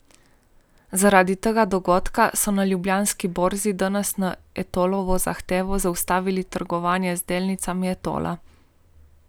Zaradi tega dogodka so na Ljubljanski borzi danes na Etolovo zahtevo zaustavili trgovanje z delnicami Etola.